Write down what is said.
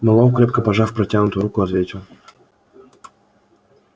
мэллоу крепко пожав протянутую руку ответил